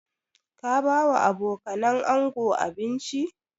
Ka ba wa abokanan ango abinci?